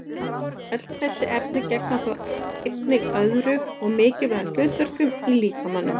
Öll þessi efni gegna þó einnig öðrum og mikilvægum hlutverkum í líkamanum.